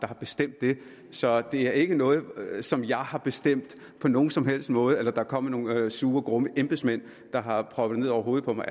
har bestemt det så det er ikke noget som jeg har bestemt på nogen som helst måde eller er kommet nogle sure grumme embedsmænd og har proppet ned over hovedet på mig